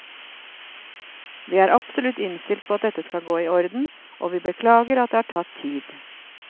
Vi er absolutt innstilt på at dette skal gå i orden, og vi beklager at det har tatt tid.